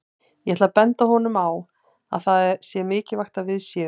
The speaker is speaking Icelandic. Ég ætla að benda honum á að það sé mikilvægt að við séum